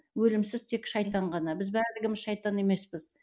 өлімсіз тек шайтан ғана біз барлығымыз шайтан емеспіз